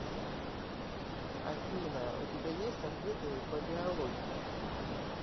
афина у тебя есть ответы по биологии